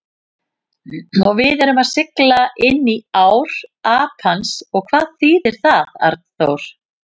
Og við erum að sigla inní ár Apans og hvað þýðir það, Arnþór?